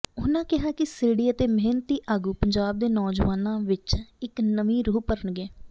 ਉਨਾਂ ਕਿਹਾ ਕਿ ਸਿਰੜੀ ਅਤੇ ਮਿਹਨਤੀ ਆਗੂ ਪੰਜਾਬ ਦੇ ਨੌਜਵਾਨਾਂ ਵਿਚ ਇਕ ਨਵੀਂ ਰੂਹ ਭਰਨਗੇ